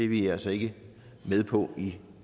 vi altså ikke med på i